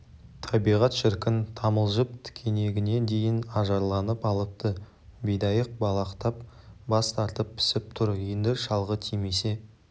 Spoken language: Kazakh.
табиғат шіркін тамылжып тікенегіне дейін ажарланып алыпты бидайық балақтап бас тартып пісіп тұр енді шалғы тимесе